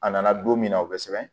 A nana don min na o bɛ sɛbɛn